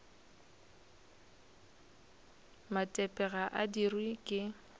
matepe ga a dirwe ke